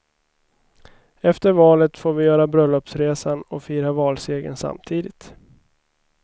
Efter valet får vi göra bröllopsresan och fira valsegern samtidigt.